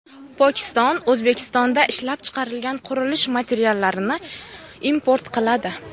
Pokiston O‘zbekistonda ishlab chiqarilgan qurilish materiallarini import qiladi.